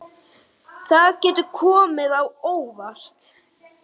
Það getur komið á óvart.